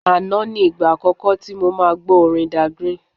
Àná ni ìgbà àkọ́kọ́ tí mo máa gbọ́ orin Dagrin.